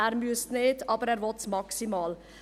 Er müsste es nicht, aber er will es maximal.